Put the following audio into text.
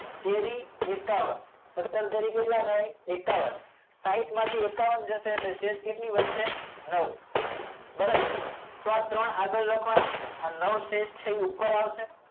તેરી એકાવન સત્તર તેરી કેટલા થાય એકાવન સાહીંઠ માં થી એકાવન જશે એટલે શેષ કેટલી વધશે નવ બરાબર તો આ ત્રણ આગળ લખવા ના આ નવ શેષ છે એ ઉપર આવશે